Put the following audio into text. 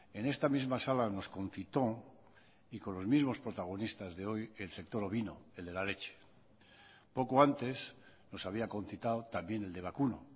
en esta misma sala nos concitó y con los mismos protagonistas de hoy el sector ovino el de la leche poco antes nos había concitado también el de vacuno